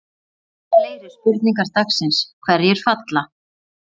Fyrri spurning dagsins: Hverjir falla?